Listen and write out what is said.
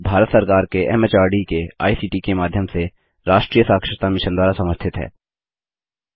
यह भारत सरकार के एमएचआरडी के आईसीटी के माध्यम से राष्ट्रीय साक्षरता मिशन द्वारा समर्थित है